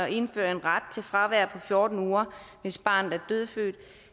indfører ret til fravær på fjorten uger hvis barnet er dødfødt